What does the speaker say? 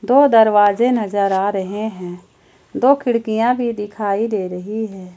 दो दरवाजे नजर आ रहे हैं दो खिड़कियां भी दिखाई दे रही हैं।